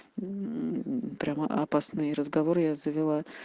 прямо опасные разговоры я завела